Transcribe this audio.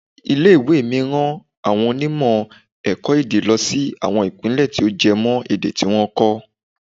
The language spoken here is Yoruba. Ilé ìwé mi rán àwọn onímọ̀ ẹ̀kọ́-èdè lọ sí àwọn Ìpínlẹ̀ tí ó jẹ mọ́ èdè tí wọ́n ń kọ́.